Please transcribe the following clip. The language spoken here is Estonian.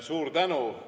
Suur tänu!